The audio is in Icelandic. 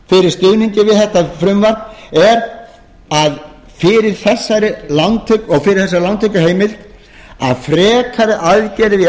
fyrir stuðningi við þetta frumvarp er fyrir þessari lántökuheimild að frekari aðgerðir í